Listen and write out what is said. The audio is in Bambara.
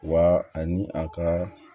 Wa ani a ka